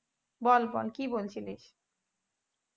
বল বল কি বলছিলিস